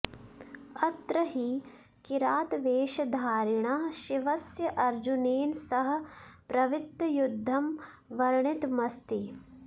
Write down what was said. अत्र हि किरातवेषधारिणः शिवस्य अर्जुनेन सह प्रवृत्तयुद्धं वर्णितमस्ति